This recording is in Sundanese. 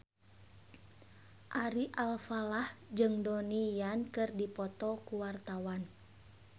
Ari Alfalah jeung Donnie Yan keur dipoto ku wartawan